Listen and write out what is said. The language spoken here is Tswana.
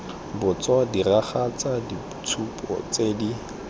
botso diragatsa ditshupo tse di